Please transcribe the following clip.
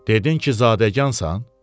Dedin ki, zadəgansan?